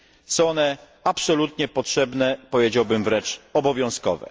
Są one absolutnie potrzebne, powiedziałbym wręcz obowiązkowe.